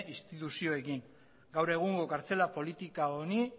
instituzioekin ere gaur egungo kartzela politika honi